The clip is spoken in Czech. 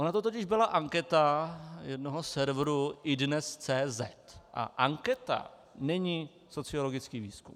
Ona to totiž byla anketa jednoho serveru, iDNES.cz, a anketa není sociologický výzkum.